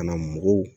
Ka na mɔgɔw